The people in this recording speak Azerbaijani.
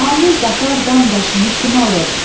Amir Qafar dam daşını kim alıb?